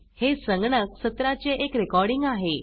हे संगणक सत्राचे एक रेकॉर्डिंग आहे